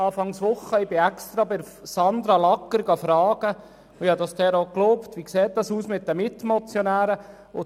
Ich habe extra bei Sandra Lagger, Leiterin Beratung Grosser Rat, nachgefragt und habe ihr auch geglaubt, wie es bezüglich der Mitmotionäre aussieht.